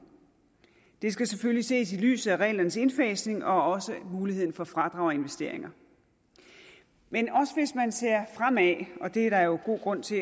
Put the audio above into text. det skal selvfølgelig ses i lyset af reglernes indfasning og muligheden for fradrag og investeringer men også hvis man ser fremad og det er der jo god grund til